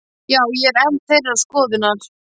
Já, ég er enn þeirrar skoðunar.